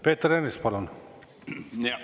Peeter Ernits, palun!